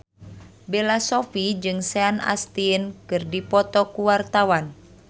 Bella Shofie jeung Sean Astin keur dipoto ku wartawan